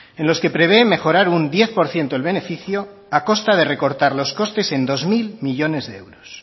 en los que prevé mejorar un diez por ciento el beneficio a costa de recortar los costes en dos mil millónes de euros